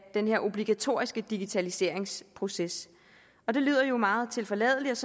den her obligatoriske digitaliseringsproces det lyder jo meget tilforladeligt